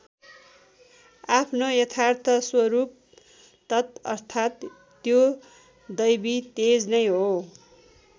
आफ्नो यथार्थ स्वरूप तत् अर्थात् त्यो दैवी तेज नै हो।